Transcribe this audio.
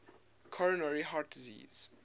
coronary heart disease